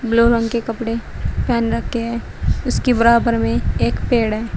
Blue रंग के कपड़े पहन रखे हैं उसके बराबर में एक पेड़ है।